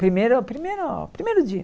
Primeiro primeiro primeiro dia.